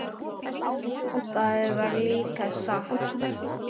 Það var líka satt.